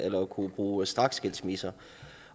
kunne bruge straksskilsmisser